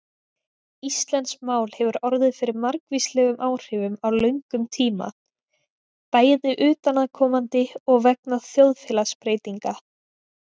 Íslenskt mál hefur orðið fyrir margvíslegum áhrifum á löngum tíma, bæði utanaðkomandi og vegna þjóðfélagsbreytinga.